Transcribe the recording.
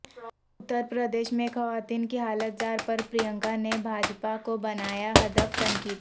اتر پردیش میںخواتین کی حالت زار پر پرینکا نے بھاجپا کو بنایا ہدف تنقید